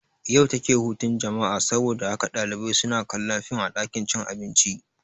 Yau take hutun jama'a saboda haka ɗalibai suna kallon fim a ɗakin cin abinci